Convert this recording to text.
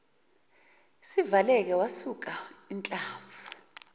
sivaleka wasuka inhlamvu